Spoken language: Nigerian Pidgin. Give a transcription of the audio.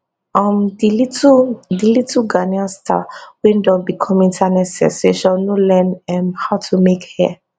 um di little di little ghanaian star wey don become internet sensation no learn um how to make hair